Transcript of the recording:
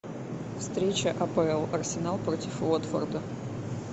встреча апл арсенал против уотфорда